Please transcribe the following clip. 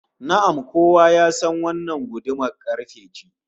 Na'am, kowa ya san wannan gudumar karfe ce